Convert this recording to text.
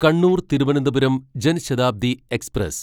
Kannur Thiruvananthapuram Jan Shatabdi express